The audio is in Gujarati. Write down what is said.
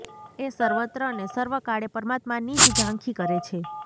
એ સર્વત્ર ને સર્વકાળે પરમાત્માની જ ઝાંખી કરે છે